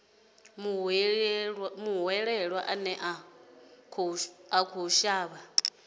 muhwelelwa ane a khou shavha